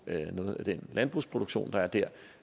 noget af den landbrugsproduktion der der